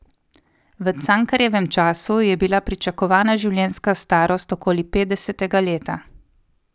V Cankarjevem času je bila pričakovana življenjska starost okoli petdesetega leta.